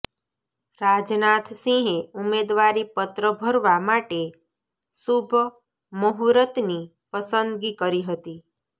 રાજનાથ સિંહે ઉમેદવારી પત્ર ભરવા માટે શુભ મહૂર્તની પસંદગી કરી હતી